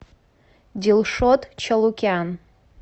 дилшот чалукян